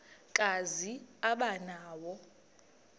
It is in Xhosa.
kazi aba nawo